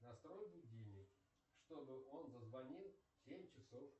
настрой будильник чтобы он зазвонил в семь часов